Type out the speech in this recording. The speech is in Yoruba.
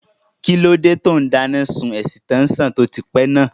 Kíló dé tó n dáná sun ẹ̀sítẹ́nsàn tó ti pẹ́ náà?